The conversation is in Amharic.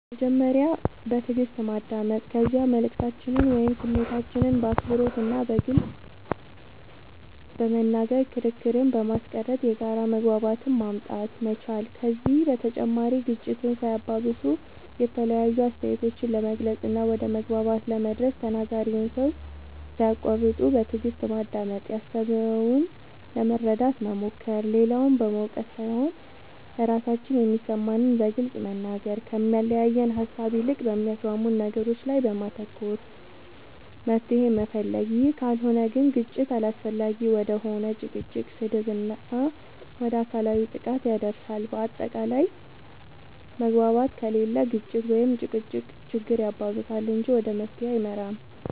በመጀመሪያ በትእግስት ማዳመጥ ከዚያ መልእክታችንን ወይም ስሜታችንን በአክብሮት እና በግልፅ በመናገር ክርክርን በማስቀረት የጋራ መግባባትን ማምጣት መቻል ከዚህ በተጨማሪ ግጭትን ሳያባብሱ የተለያዩ አስተያየቶችን ለመግለፅ እና ወደ መግባባት ለመድረስ ተናጋሪውን ሰው ሳያቁዋርጡ በትእግስት ማዳመጥ ያሰበውን ለመረዳት መሞከር, ሌላውን በመውቀስ ሳይሆን ራሳችን የሚሰማንን በግልፅ መናገር, ከሚያለያየን ሃሳብ ይልቅ በሚያስማሙን ነገሮች ላይ በማተኮር መፍትሄ መፈለግ ይህ ካልሆነ ግን ግጭት አላስፈላጊ ወደ ሆነ ጭቅጭቅ, ስድብ እና ወደ አካላዊ ጥቃት ያደርሳል በአታቃላይ መግባባት ከሌለ ግጭት(ጭቅጭቅ)ችግር ያባብሳል እንጂ ወደ መፍትሄ አይመራም